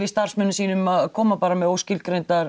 starfsmönnum sínum að koma með óskilgreindar